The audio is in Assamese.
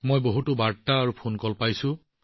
মই বহুতো বাৰ্তা লাভ কৰি আছো আনকি ফোন কলো